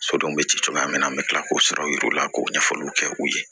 Sodenw bɛ ci cogoya min na an bɛ tila k'o sɔrɔ u yɛrɛ la k'o ɲɛfɔliw kɛ u ye